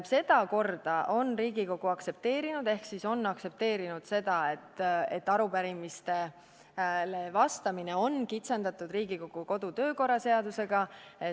Seda korda on Riigikogu aktsepteerinud ehk on aktsepteerinud seda, et arupärimistele vastamine on kitsendatud Riigikogu kodu- ja töökorra seadusega.